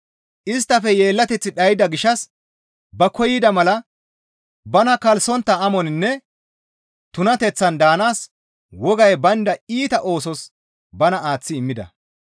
Isttafe yeellateththi dhayda gishshas ba koyida mala bana kalssontta amoninne tunateththan daanaas wogay baynda iita oosos bana aaththi immida.